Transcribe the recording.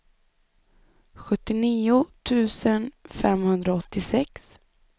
sjuttionio tusen femhundraåttiosex